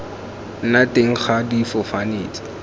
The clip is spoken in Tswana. nna teng ga difofane tse